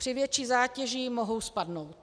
Při větší zátěži mohou spadnout.